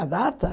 A data?